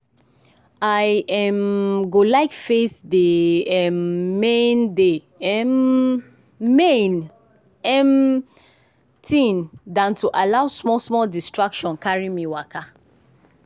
i um go like face dey um main dey um main um thing than to allow small small distraction carry me waka.